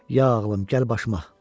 Ya ağlım, gəl başıma,